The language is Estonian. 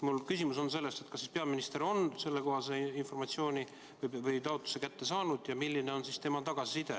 Mul on küsimus, kas siis peaminister on selle taotluse kätte saanud ja kui on, siis milline on tema tagasiside.